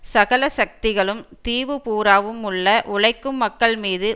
சகல சக்திகளும் தீவு பூராவும் உள்ள உழைக்கும் மக்கள் மீது